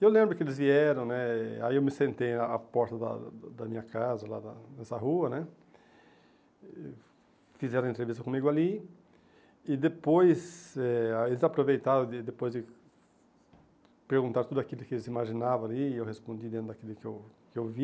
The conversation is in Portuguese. E eu lembro que eles vieram né, aí eu me sentei na porta da da minha casa, lá da, nessa rua né, e fizeram a entrevista comigo ali, e depois eh eles aproveitaram, depois de perguntar tudo aquilo que eles imaginavam ali, eu respondi dentro daquilo que eu que eu vi,